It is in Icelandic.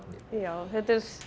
þetta